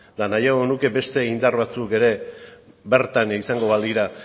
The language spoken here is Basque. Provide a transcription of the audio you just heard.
eta nahiago nuke beste indar batzuk ere bertan izango balira